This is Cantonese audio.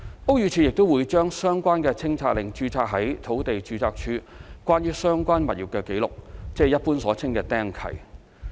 屋宇署亦會將相關清拆令註冊於土地註冊處關於相關物業的紀錄，即一般所稱的"釘契"。